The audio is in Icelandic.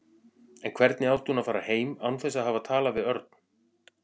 En hvernig átti hún að fara heim án þess að hafa talað við Örn?